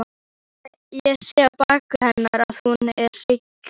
Ég sé á baki hennar að hún er hrygg.